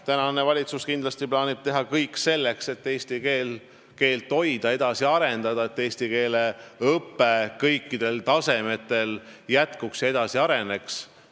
Tänane valitsus kindlasti plaanib teha kõik selleks, et eesti keelt hoida ja edasi arendada, ning selleks, et eestikeelne õpe kõikidel tasemetel jätkuks ja edasi areneks.